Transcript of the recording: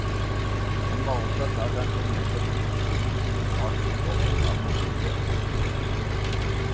Han var opptatt av den formelle konstruksjonen som lå bak utformingen av motivet. punktum